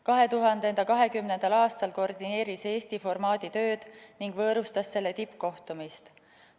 2020. aastal koordineeris Eesti formaadi tööd ning võõrustas selle tippkohtumist.